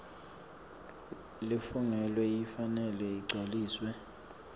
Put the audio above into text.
lefungelwe ifanele igcwaliswe